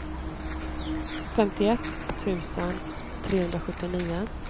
femtioett tusen trehundrasjuttionio